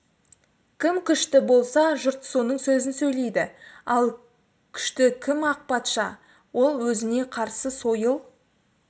кім күшті болса жұрт соның сөзін сөйлейді ал күшті кім ақ патша ол өзіне қарсы сойыл